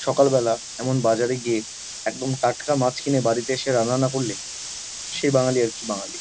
সকালবেলা এমন বাজারে গিয়ে একদম টাটকা মাছ কিনে বাড়িতে এসে রান্না না করলে সে বাঙালি আর কি বাঙালি?